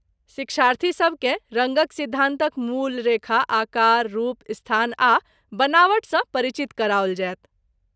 शिक्षार्थीसभ केँ रङ्गक सिद्धान्तक मूल, रेखा, आकार, रूप, स्थान आ बनावट सँ परिचित कराओल जायत।